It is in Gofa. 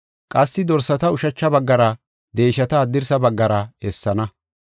Qassi dorsata ushacha baggara deeshata haddirsa baggara essana.